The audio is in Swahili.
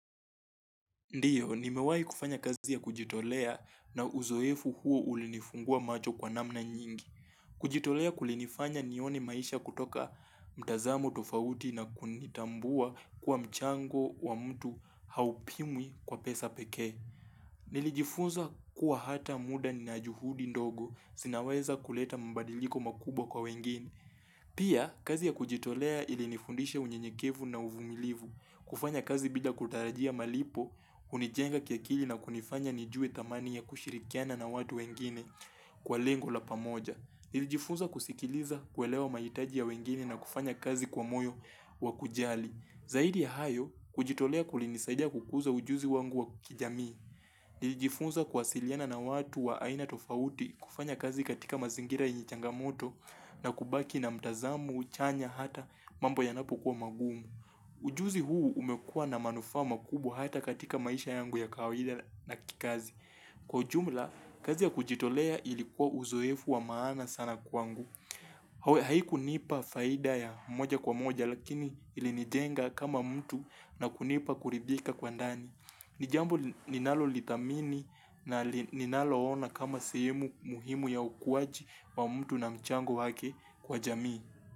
Ndiyo nimewai kufanya kazi ya kujitolea na uzoefu huo ulinifungua macho kwa namna nyingi kujitolea kulinifanya nione maisha kutoka mtazamo tofauti na kunitambua kwa mchango wa mtu haupimwi kwa pesa pekee nilijifunza kuwa hata muda na juhudi ndogo sinaweza kuleta mbadiliko makubwa kwa wengine pia kazi ya kujitolea ilinifundisha unyenyekevu na uvumilivu kufanya kazi bila kutarajia malipo hunijenga kiakili na kunifanya nijue thamani ya kushirikiana na watu wengine kwa lengo la pamoja nilijifunza kusikiliza kuelewa mahitaji ya wengine na kufanya kazi kwa moyo wakujali zaidi ya hayo kujitolea kulinisaidia kukuza ujuzi wangu wa kijamii nilijifunza kuasiliana na watu wa aina tofauti kufanya kazi katika mazingira yenye changamoto na kubaki na mtazamo chanya hata mambo yanapokua magumu ujuzi huu umekua na manufaa makubwa hata katika maisha yangu ya kawaida na kikazi Kwa jumla kazi ya kujitolea ilikuwa uzoefu wa maana sana kwangu haikunipa faida ya moja kwa moja lakini ilinijenga kama mtu na kunipa kuridhika kwa ndani ni jambo ninalolithamini na ninalo ona kama sehemu muhimu ya ukuaji wa mtu na mchango wake kwa jamii.